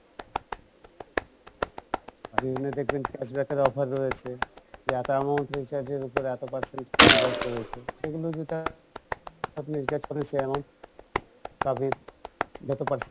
বিভিন্ন দেখবেন cash back এর offer রয়েছে যে এত amount recharge এর উপর এত percent cash back রয়েছে সেগুলো যেটা আপনি যে recharge করেন সে amount